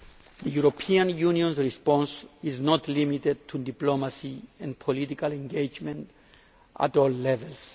The European Union's response is not limited to diplomacy and political engagement at all levels.